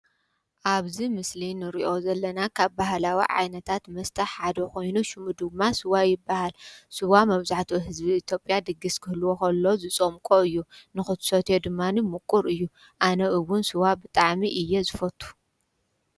ኣብዚ ምስሊ ንሪኦ ዘለና ካብ ባህላዊ ዓይነታት መስተ ሓደ ኮይኑ ሽሙ ድማ ስዋ ይበሃል፡፡ ስዋ መብዛሕትኡ ህዝቢ ኢትዮጵያ ድግስ ክህልዎ ከሎ ዝፀምቆ እዩ፡፡ ንኽትሰትዮ ድማኒ ምቑር እዩ፡፡ ኣነ እውን ስዋ ብጣዕሚ እየ ዝፈቱ፡፡